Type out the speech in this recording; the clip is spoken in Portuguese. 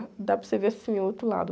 Dá para você ver assim o outro lado.